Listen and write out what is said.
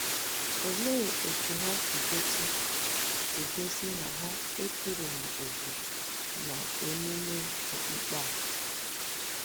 Olee otú ha si gosi si gosi na ha ekereghị òkè n’ememe okpukpe a?